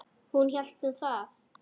Hún hélt nú það.